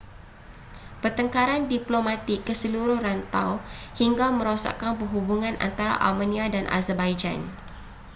pertengkaran diplomatik ke seluruh rantau hingga merosakkan perhubungan antara armenia dan azerbaijan